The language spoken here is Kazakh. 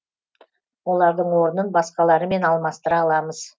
олардың орнын басқаларымен алмастыра аламыз